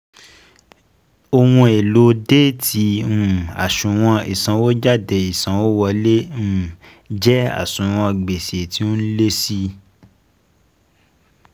Ohùn èlò Déétì um àṣùwọ̀n ìsànwójáde ìsanwówọlé um jẹ́ àṣùwọ̀n gbèsè tí ó ń lé si